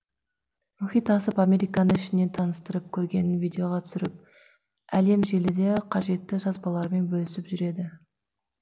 мұхит асып американы ішінен таныстырып көргенін видеоға түсіріп әлемжеліде қажетті жазбаларымен бөлісіп жүреді